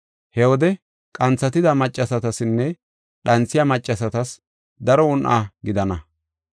He wode qanthatida maccasatasinne dhanthiya maccasatas daro un7a gidana.